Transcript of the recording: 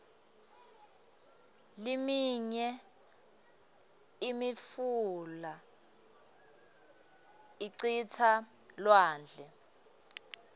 liminye imifula icitsa elwandle